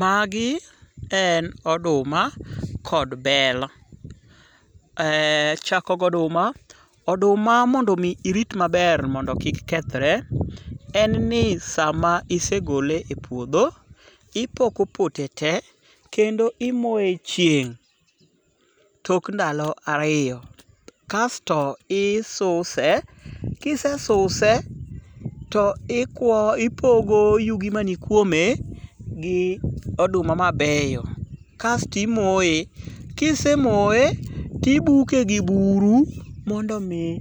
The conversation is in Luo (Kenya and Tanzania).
Magi en oduma kod bel. Achako go oduma. Oduma mondo omi irit maber mondo kik kethre, en ni sama isegole e puodho, ipoko pote tee kendo imoye e chieng' tok ndalo ariyo, kasto isuse ka isesuse to ipogo yugi mani kuome gi oduma mabeyo, kasti imoye kisemoye tibuke gi buru mondo omi